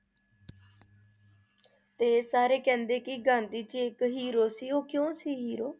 ਤੇ ਸਾਰੇ ਕਹਿੰਦੇ ਕਿ ਗਾਂਧੀ ਜੀ ਇਕ hero ਸੀ ਉਹ ਕਿਊ ਸੀ hero